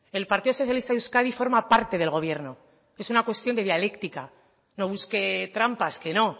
el partido socialista de euskadi forma parte del gobierno es una cuestión de dialéctica no busque trampas que no